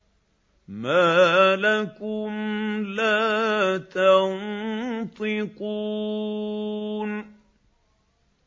مَا لَكُمْ لَا تَنطِقُونَ